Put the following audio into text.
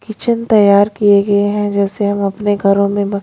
kitchen तैयार किए गए हैं जैसे हम अपने घरों में--